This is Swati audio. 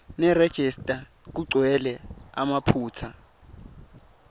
nerejista kugcwele emaphutsa